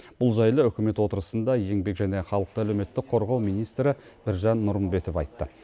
бұл жайлы үкімет отырысында еңбек және халықты әлеуметтік қорғау министрі біржан нұрымбетов айтты